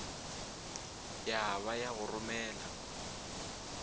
ya ba ya go romela